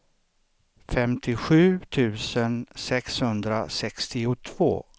femtiosju tusen sexhundrasextiotvå